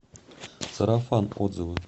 сарафан отзывы